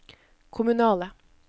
kommunale